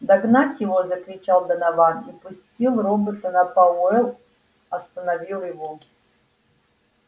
догнать его закричал донован и пустил робота но пауэлл остановил его